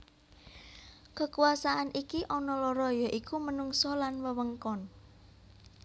Kekuasaan iki ana loro ya iku menungsa lan wewengkon